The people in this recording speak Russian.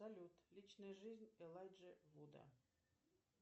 салют личная жизнь элайджи вуда